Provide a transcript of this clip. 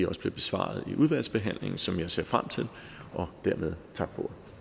også bliver besvaret i udvalgsbehandlingen som jeg ser frem til dermed tak